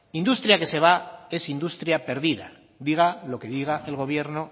industria que se va es industria pérdida diga lo que diga el gobierno